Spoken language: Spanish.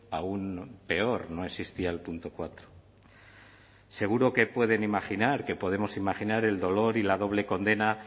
aún peor no existía el punto cuatro seguro que pueden imaginar que podemos imaginar el dolor y la doble condena